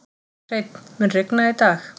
Hreinn, mun rigna í dag?